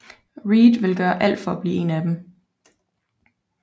Reed vil gøre alt for at blive en af dem